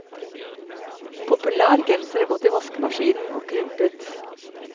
Populær genser er gått i vaskemaskinen, og krympet.